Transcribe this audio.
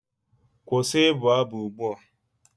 Kwụsị ịbụ abụ ugbu a!